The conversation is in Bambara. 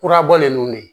Kurabɔlen ninnu de